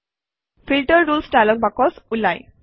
filter rules dialog box ওলায়